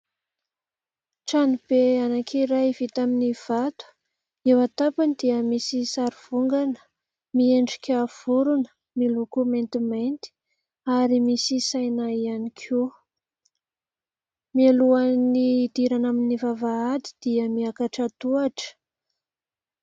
Trano be anankiray vita amin'ny vato. Eo an-tampony dia misy sary vongana, miendrika vorona, miloko maintimainty ary misy saina ihany koa. Mialohan'ny hidirana amin'ny vavahady dia miakatra tohatra.